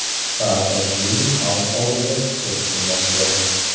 Saakashvili xalq oldida chiqish qilmoqda.